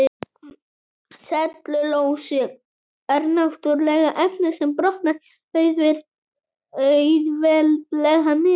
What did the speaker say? Sellulósi er náttúrulegt efni sem brotnar auðveldlega niður.